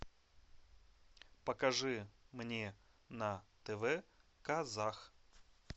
покажи мне на тв казах